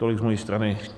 Tolik z mojí strany.